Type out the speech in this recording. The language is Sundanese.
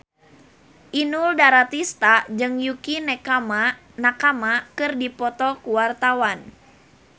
Inul Daratista jeung Yukie Nakama keur dipoto ku wartawan